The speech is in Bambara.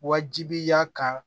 Wajibiya kan